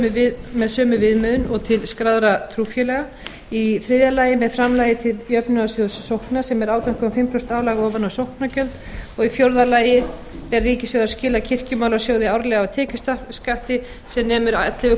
sóknargjöldum með sömu viðmiðun og til skráðra trúfélaga í þriðja lagi með framlagi til jöfnunarsjóðs sókna sem er átján og hálft prósent álag ofan á sóknargjöld og í fjórða lagi ber ríkissjóði að skila kirkjumálasjóði árlega af tekjuskatti sem nemur ellefu